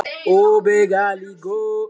Og ferð með rútu heim aftur?